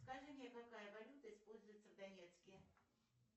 скажи мне какая валюта используется в донецке